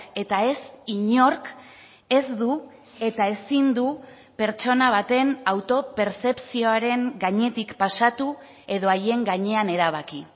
eta ez inork ez du eta ezin du pertsona baten autopertzepzioaren gainetik pasatu edo haien gainean erabaki